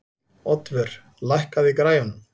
Oddvör, lækkaðu í græjunum.